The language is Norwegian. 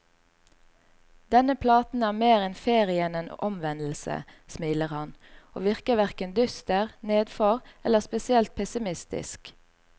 Denne platen er mer en ferie enn en omvendelse, smiler han, og virker hverken dyster, nedfor eller spesielt pessimistisk.